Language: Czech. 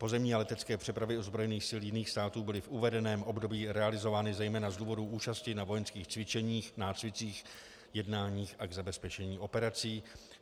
Pozemní a letecké přepravy ozbrojených sil jiných států byly v uvedeném období realizovány zejména z důvodu účasti na vojenských cvičeních, nácvicích, jednáních a k zabezpečení operací.